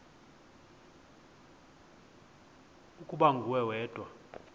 ukuba nguwe wedwa